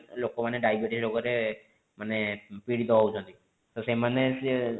ଲୋକ ମାନେ diabetes ରୋଗରେ ମାନେ ପୀଡିତ ହୋଉଛନ୍ତି ତ ସେମାନେ ସିଏ